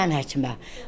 Aparım mən həkimə.